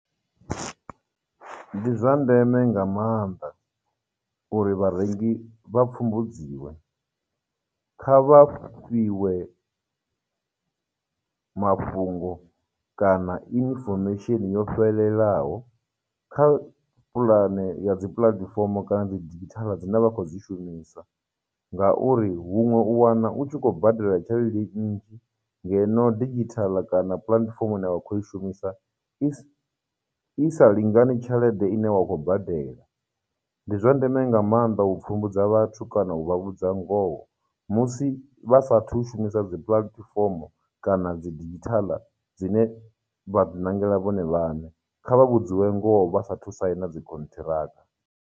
Ndi zwa ndeme nga maanḓa uri vharengi vha pfumbudziwe, kha vha fhiwe mafhungo kana information yo fhelelaho kha pulane ya dzi platform kana dzi digital dzine vha khou dzi shumisa, ngauri huṅwe u wana u tshi khou badela tshelede nnzhi ngeno digital kana platform i ne vha khou i shumisa i, i sa lingani tshelede ine wa khou badela. Ndi zwa ndeme nga mannḓa u pfhumbudza vhathu kana u vha vhudza ngoho musi vha sathu shumisa dzi platform kana dzi digital dzine vha ḓi ṋangela vhone vhaṋe, kha vha vhudziwe ngoho vhasa thu saina dzi khonṱhiraka.